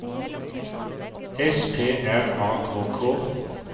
S P R A K K